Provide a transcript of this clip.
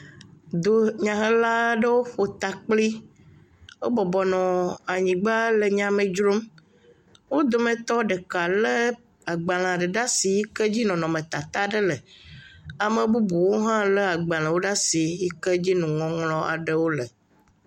Dunyahela aɖewo ƒo ta kpli, wobɔbɔ nɔ anyigba le nya me dzrom. Wo dometɔ ɖeka lé agbalẽ aɖe le asi yike dzi nɔnɔmetata aɖe le. Ame bubuwo hã lé agbalẽ aɖewo le asi yike dzi nuŋɔŋlɔ aɖe le.